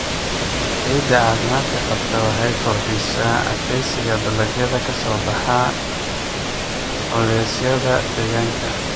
Ciidda caafimaadka qabta waxay kordhisaa adkeysiga dalagyada ka soo baxa culeysyada deegaanka.